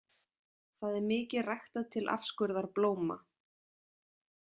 Það er mikið ræktað til afskurðar blóma.